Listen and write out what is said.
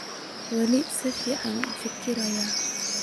Wali sificn ufikiraya.